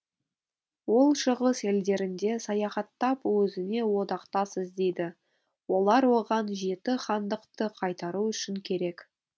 ол шығыс елдерінде саяхаттап озіне одақтас іздейді олар оған жеті хандықты қайтару үшін керек